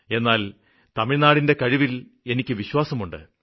എന്നാല് തമിഴ്നാടിന്റെ കഴിവില് എനിക്കു വിശ്വാസം ഉണ്ട്